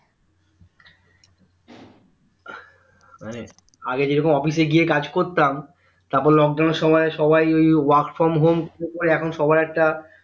আগে যেরকম office এ গিয়ে কাজ করতাম তারপর lockdown এর সময় সবাই ওই work from home এখন সবাই একটা